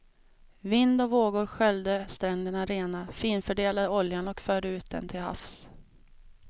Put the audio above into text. Vind och vågor sköljde stränderna rena, finfördelade oljan och förde ut den till havs.